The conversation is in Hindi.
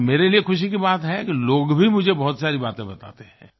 और मेरे लिए खुशी की बात है कि लोग भी मुझे बहुत सारी बातें बताते हैं